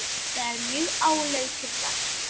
Þetta er mjög áleitið verk.